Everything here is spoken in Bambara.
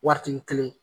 Wariti kelen